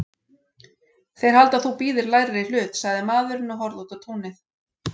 Þeir halda að þú bíðir lægri hlut, sagði maðurinn og horfði út á túnið.